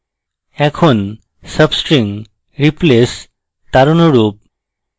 এখন substring replace তার অনুরূপ